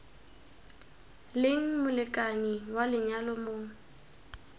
leng molekane wa lenyalo mo